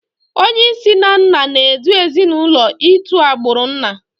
Onyeisi na nna n'edu ezinụlọ itu agbụrụ nna